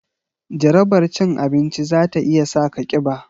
Jarabar cin abinci za ta iya sa ka kiba